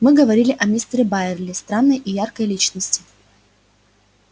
мы говорили о мистере байерли странной и яркой личности